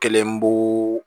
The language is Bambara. Kelen b'o